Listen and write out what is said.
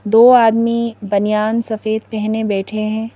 दो आदमी बनियान सफेद पहने बैठे हैं।